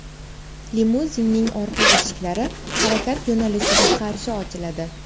Limuzinning orqa eshiklari harakat yo‘nalishiga qarshi ochiladi.